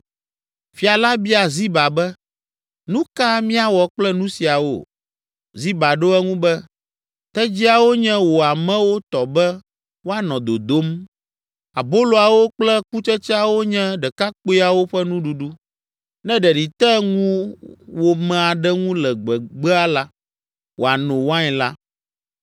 Fia la bia Ziba be, “Nu ka míawɔ kple nu siawo?” Ziba ɖo eŋu be, “Tedziawo nye wò amewo tɔ be woanɔ dodom, aboloawo kple kutsetseawo nye ɖekakpuiawo ƒe nuɖuɖu. Ne ɖeɖi te ŋuwòme aɖe ŋu le gbegbea la, wòano wain la.”